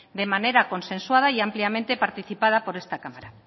de manera consensuada y ampliamente participada por esta cámara